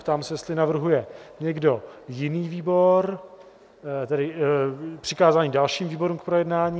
Ptám se, jestli navrhuje někdo jiný výbor, tedy přikázání dalším výborům k projednání?